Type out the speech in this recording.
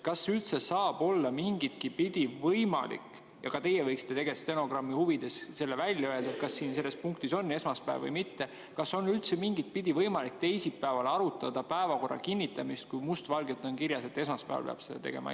Kas üldse saab olla mingitki pidi võimalik – ja ka teie võiksite stenogrammi huvides välja öelda, kas selles punktis on esmaspäev või mitte – teisipäeval arutada päevakorra kinnitamist, kui must valgel on kirjas, et seda peab tegema esmaspäeval?